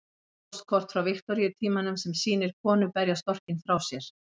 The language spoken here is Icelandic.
Póstkort frá Viktoríutímanum sem sýnir konu berja storkinn frá sér.